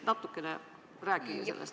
Rääkige natukene sellest.